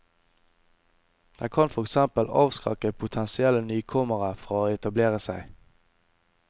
Den kan for eksempel avskrekke potensielle nykommere fra å etablere seg.